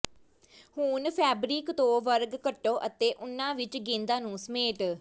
ਹੁਣ ਫੈਬਰਿਕ ਤੋਂ ਵਰਗ ਕੱਟੋ ਅਤੇ ਉਨ੍ਹਾਂ ਵਿੱਚ ਗੇਂਦਾਂ ਨੂੰ ਸਮੇਟ